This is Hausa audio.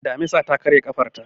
Damisar ta karye ƙafarta.